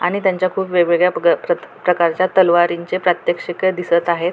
आणि त्यांचा खूप वेगवेगळ्या प्रकारच्या तलवारींचे प्रात्यक्षिके दिसत आहेत.